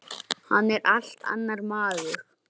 Hann vildi borga mér!